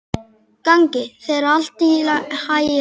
Gangi þér allt í haginn, Anders.